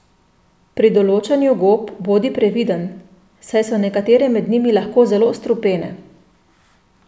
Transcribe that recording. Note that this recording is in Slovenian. Pri določanju gob bodi previden, saj so nekatere med njimi lahko zelo strupene.